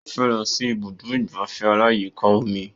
Ó fẹ́ lọ sí ibùdó ìgbafẹ́ aláyíká omi